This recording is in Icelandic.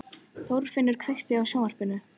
Þorfinnur, kveiktu á sjónvarpinu.